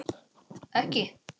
Sindri: Ekki?